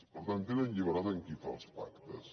per tant tenen llibertat amb qui fan els pactes